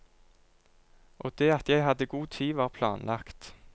Og det at jeg hadde god tid, var planlagt.